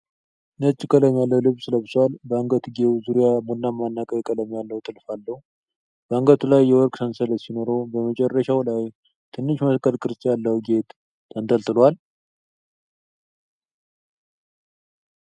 ነጭ ቀለም ያለው ልብስ ለብሷል፣ በአንገትጌው ዙሪያ ቡናማና ቀይ ቀለም ያለው ጥልፍ አለው። በአንገቱ ላይ የወርቅ ሰንሰለት ሲኖረው፣ በመጨረሻው ላይ ትንሽ መስቀል ቅርጽ ያለው ጌጥ ተንጠልጥሏል።